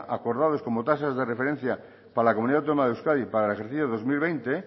acordados como tasas de referencia para la comunidad autónoma de euskadi para el ejercicio dos mil veinte